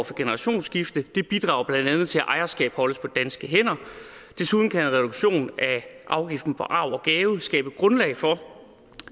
for generationsskifte det bidrager blandt andet til at ejerskabet holdes på danske hænder desuden kan en reduktion af afgiften på arv og gave skabe grundlag for